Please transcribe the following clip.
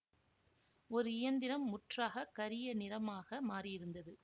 ஒரு இயந்திரம் முற்றாகக் கரிய நிறமாக மாறியிருந்தது